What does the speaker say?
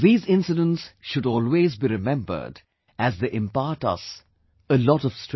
These incidents should always be remembered as they impart us a lot of strength